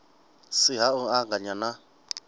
si ha u anganya na